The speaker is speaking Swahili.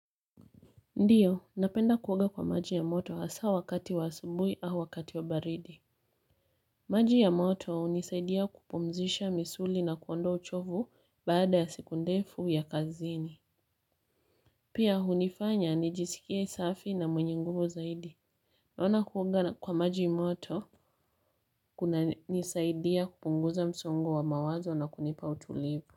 Ndiyo, napenda kuoga kwa maji ya moto hasa wakati wa subuhi au wakati wa baridi. Maji ya moto hunisaidia kupumzisha misuli na kuondoa uchovu baada ya siku ndefu ya kazini. Pia hunifanya, anijisikie safi na mwenye nguvu zaidi. Naona kuoga kwa maji moto, kunanisaidia kupunguza msongo wa mawazo na kunipa utulivu.